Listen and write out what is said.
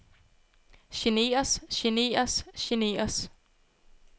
generes generes generes